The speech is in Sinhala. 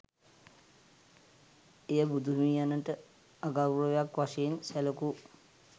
එය බුදුහිමියනට අගෞරවයක් වශයෙන් සැලකූ